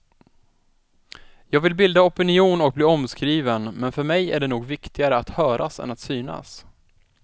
Jag vill bilda opinion och bli omskriven men för mig är det nog viktigare att höras än att synas.